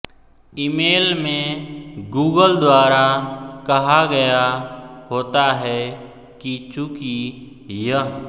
email में Google द्वारा कहा गया होता है कि चूंकि यह